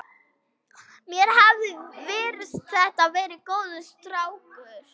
Mér hafði virst þetta vera góður strákur.